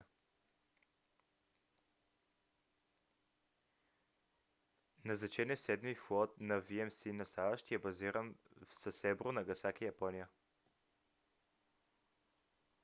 назначен е в седми флот на вмс на сащ и е базиран в сасебо нагасаки япония